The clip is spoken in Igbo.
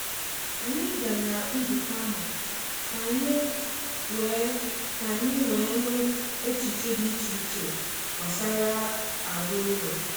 Anyị gara nzukọ ahụ ka anyị wee ka anyị wee nụ echiche dị iche iche gbasara um aro ụlọ.